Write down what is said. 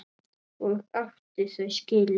Og átti þau skilið.